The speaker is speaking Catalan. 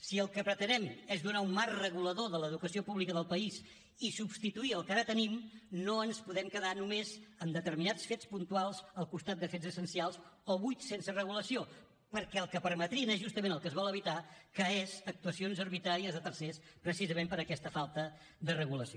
si el que pretenem és donar un marc regulador a l’educació pública del país i substituir el que ara tenim no ens podem quedar només amb determinats fets puntuals al costat de fets essencials o buits sense regulació perquè el que permetrien és justament el que es vol evitar que són actuacions arbitràries de tercers precisament per aquesta falta de regulació